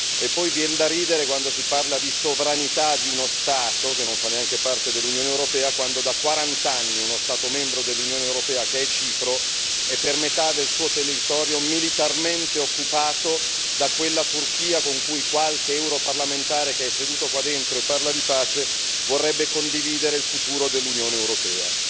E poi viene da ridere quando si parla di sovranità di uno Stato che non fa neanche parte dell'Unione europea, quando da quarant'anni uno Stato membro dell'Unione europea, Cipro, è per metà del suo territorio militarmente occupato da quella Turchia con cui qualche europarlamentare che è seduto qua dentro e parla di pace vorrebbe condividere il futuro dell'Unione europea.